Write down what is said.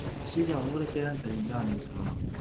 ஸ்ரீஜா உங்களுக்கு எத தெரிஞ்சா நீங்க சொல்லலாம்